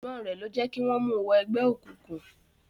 Àìgbọ́n rẹ̀ ló jẹ́ kí wọ́n mu wọ ẹgbẹ́ òkùnkùn.